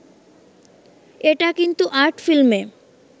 এটা কিন্তু আর্ট ফিল্মে